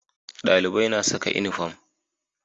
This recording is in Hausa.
Dalibai na saka inifam